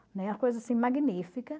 coisa assim magnífica.